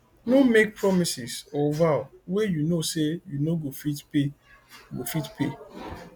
no make promises or vow wey you know sey you no go fit pay go fit pay